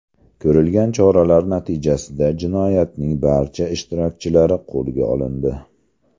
Ko‘rilgan choralar natijasida jinoyatning barcha ishtirokchilari qo‘lga olindi.